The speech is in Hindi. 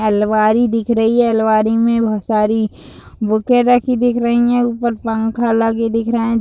अलमारी दिख रही है। अलमारी में बहोत सारी बुके रखी दिख रही है। ऊपर पंखा लगे दिख रहें --